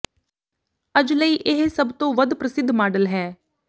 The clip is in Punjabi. ਅੱਜ ਲਈ ਇਹ ਸਭ ਤੋਂ ਵੱਧ ਪ੍ਰਸਿੱਧ ਮਾਡਲ ਹੈ